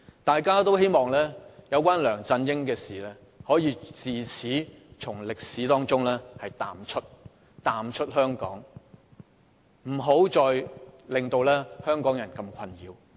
大家都希望有關梁振英的事，可以自此從香港歷史中淡出，不要再困擾香港人。